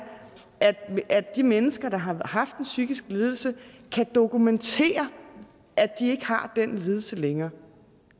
at de mennesker der har haft en psykisk lidelse kan dokumentere at de ikke har den lidelse længere